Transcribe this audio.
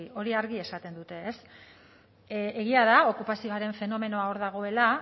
hori argi esaten dute egia da okupazioaren fenomenoa hor dagoela